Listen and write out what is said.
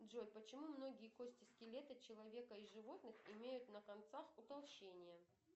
джой почему многие кости скелета человека и животных имеют на концах утолщения